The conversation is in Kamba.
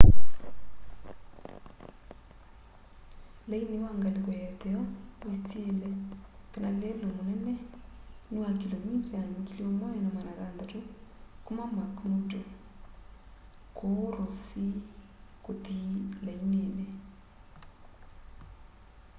laini wa ngaliko ya itheo wisile kana lelu munene ni wa kilomita 1600 kuma mcmurdo kuu ross sea kuthi lainini